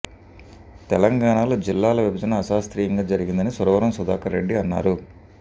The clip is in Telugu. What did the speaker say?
తెలంగాణలో జిల్లాల విభజన అశాస్త్రీయంగా జరిగిందని సురవరం సుధాక ర్రెడ్డి అన్నారు